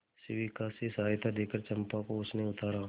शिविका से सहायता देकर चंपा को उसने उतारा